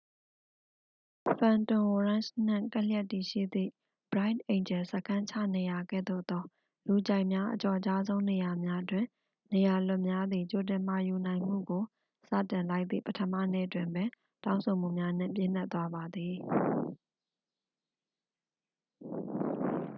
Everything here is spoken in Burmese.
ဖန်တွန်ဝရန့်ချ် နှင့်ကပ်လျက်တည်ရှိသည့် bright angel စခန်းချနေရာကဲ့သို့သော လူကြိုက်များ အကျော်ကြားဆုံး နေရာများတွင် နေရာလွတ်များသည် ကြိုတင်မှာယူနိုင်မှုကို စတင်လိုက်သည့် ပထမနေ့တွင်ပင် တောင်းဆိုမှုများနှင့် ပြည့်နှက်သွားပါသည်